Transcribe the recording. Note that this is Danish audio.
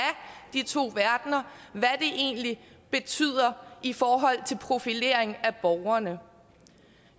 de to verdener egentlig betyder i forhold til en profilering af borgerne